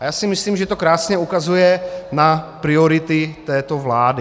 A já si myslím, že to krásně ukazuje na priority této vlády.